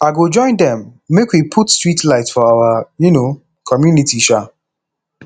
i go join dem make we put street light for our um community um